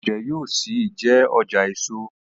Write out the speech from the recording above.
Ọjà Ojé yóò ṣì jé ọjà èso.